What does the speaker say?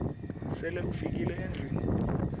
sele ufikile endlwini